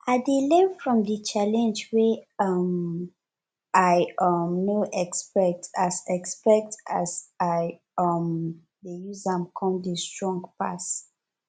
i dey learn from di challenge wey um i um no expect as expect as i um dey use am con dey strong pass